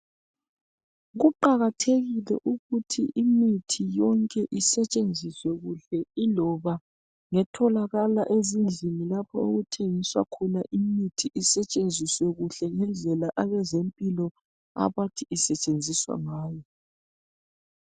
Kuqakathekile ukuthi imithi yonke isetshenziswe kuhle iloba ngetholakala ezindlini lapho okuthengiswa khona imithi. Isetshenziswe kuhle ngendlela abezempilo abathi isetshenziswa ngayo